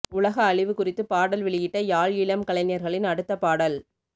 உலக அழிவு குறித்து பாடல் வெளியிட்ட யாழ் இளம் கலைஞர்களின் அடுத்த பாடல்